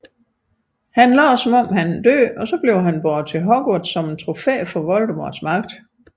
Han lader som om han er død og bliver båret til Hogwarts som et trofæ for Voldemorts magt